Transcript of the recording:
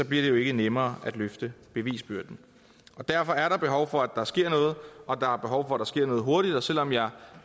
bliver det jo ikke nemmere at løfte bevisbyrden derfor er der behov for at der sker noget og der er behov for at der sker noget hurtigt og selv om jeg